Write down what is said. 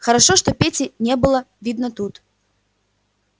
хорошо что пети не было видно тут